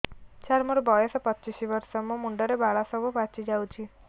ସାର ମୋର ବୟସ ପଚିଶି ବର୍ଷ ମୋ ମୁଣ୍ଡରେ ବାଳ ସବୁ ପାଚି ଯାଉଛି